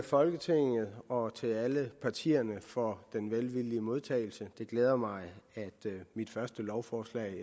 folketinget og til alle partierne for den velvillige modtagelse det glæder mig at mit første lovforslag